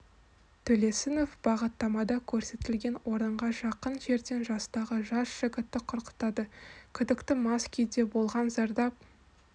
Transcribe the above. төлесінов бағыттамада көрсетілген орынға жақын жерден жастағы жас жігітті құрықтады күдікті мас күйде болған зардап